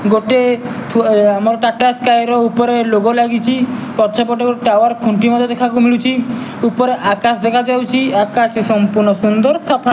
ଗୋଟେ ଥୁଆ ଆମର ଟାଟା ସ୍କାୟ ର ଉପରେ ଲୋଗ ଲାଗିଚି। ପଛପଟେ ଗୋଟେ ଟାୱାର ଖୁଣ୍ଟି ମଧ୍ୟ ଦେଖିବାକୁ ମିଳୁଚି। ଉପରେ ଆକାଶ ଦେଖା ଯାଉଚି। ଆକାଶଟି ସମ୍ପୂର୍ଣ ସୁନ୍ଦର ସଫା --